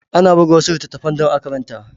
Ana buga wasu littattafan dan a karanta